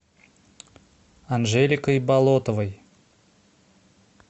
анжеликой болотовой